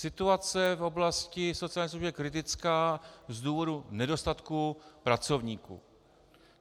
Situace v oblasti sociálních služeb je kritická z důvodu nedostatku pracovníků.